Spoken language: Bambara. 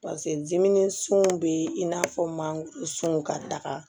pase diminen sun bɛ i n'a fɔ mansunw ka taga